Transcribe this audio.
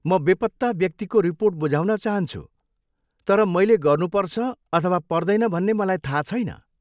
म बेपत्ता व्यक्तिको रिपोर्ट बुझाउन चाहन्छु तर मैले गर्नुपर्छ अथवा पर्दैन भन्ने मलाई थाहा छैन।